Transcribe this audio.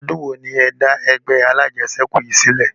Odun wo ni ẹ da ẹgbẹ́ alajẹsẹ́kù yìí sílẹ̀?